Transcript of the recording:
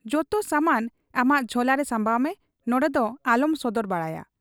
ᱡᱚᱛᱚ ᱥᱟᱢᱟᱱ ᱟᱢᱟᱜ ᱡᱷᱚᱞᱟᱨᱮ ᱥᱟᱢᱵᱟᱣ ᱢᱮ ᱾ ᱱᱚᱱᱰᱮᱫᱚ ᱟᱞᱚᱢ ᱥᱚᱫᱚᱨ ᱵᱟᱲᱟᱭᱟ ᱾